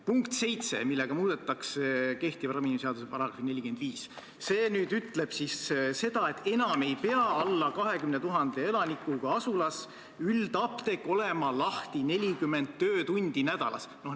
Punktiga 7 muudetakse kehtiva ravimiseaduse § 45: see ütleb seda, et alla 20 000 elanikuga asulas ei pea üldapteek enam olema lahti 40 töötundi nädalas.